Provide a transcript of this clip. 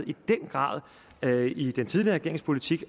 i den grad manglede i den tidligere regerings politik